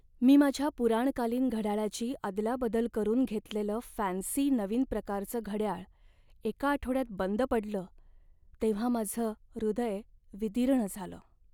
मी माझ्या पुराणकालीन घड्याळाची अदलाबदल करून घेतलेलं फॅन्सी नवीन प्रकारचं घडयाळ एका आठवड्यात बंद पडलं तेव्हा माझं हृदय विदीर्ण झालं.